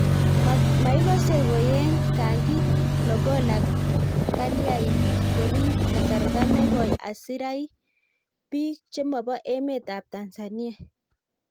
maikose koyeny kangi logola kalyain ngoriib kasarta negoi asirai biik chemobo emet ab Tanzania